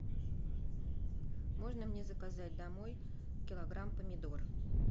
можно мне заказать домой килограмм помидор